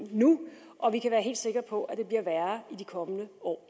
nu og vi kan være helt sikker på at det bliver værre i de kommende år